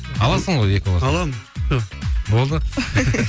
аласың ғой екі баласымен аламын все болды